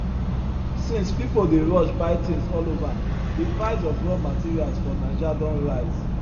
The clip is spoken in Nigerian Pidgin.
since people dey rush buy things all over the price of raw materials for naija don rise